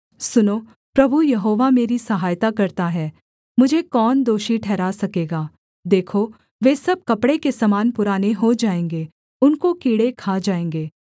सुनो प्रभु यहोवा मेरी सहायता करता है मुझे कौन दोषी ठहरा सकेगा देखो वे सब कपड़े के समान पुराने हो जाएँगे उनको कीड़े खा जाएँगे